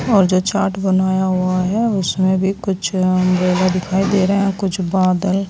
और जो चार्ट बनाया हुआ है उसमें भी कुछ अंब्रेला दिखाई दे रहे हैं कुछ बादल--